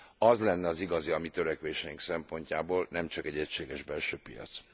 Az lenne az igazi a mi törekvéseink szempontjából, nem csak egy egységes belső piac.